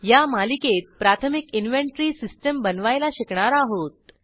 या मालिकेत प्राथमिक इनव्हेन्टरी सिस्टीम बनवायला शिकणार आहोत